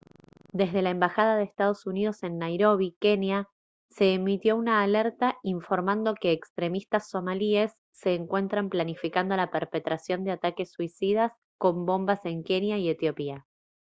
desde la embajada de estados unidos en nairobi kenia se emitió una alerta informando que «extremistas somalíes» se encuentran planificando la perpetración de ataques suicidas con bombas en kenia y etiopía